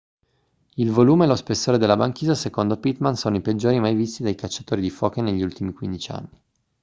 il volume e lo spessore della banchisa secondo pittman sono i peggiori mai visti dai cacciatori di foche negli ultimi 15 anni